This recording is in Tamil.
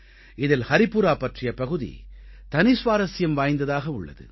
இதில் ஹரிபுரா பற்றிய பகுதி தனி சுவாரசியம் வாய்ந்ததாக உள்ளது